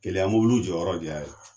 Keleya mɔbiliw jɔyɔrɔ de y'a ye